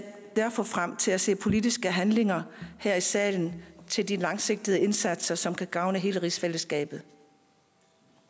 derfor frem til at se politiske handlinger her i salen til de langsigtede indsatser som kan gavne hele rigsfællesskabet